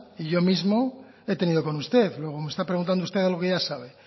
y yo mismo he tenido con usted luego me está preguntando usted algo que ya sabe